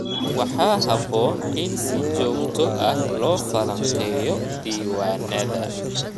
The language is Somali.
Waxaa habboon in si joogto ah loo falanqeeyo diiwaannada.